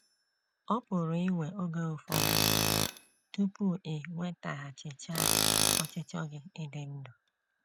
Ọ pụrụ iwe oge ụfọdụ tupu i nwetaghachichaa ọchịchọ gị ịdị ndụ.